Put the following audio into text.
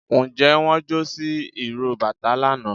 njẹ won jo si iró batà lana?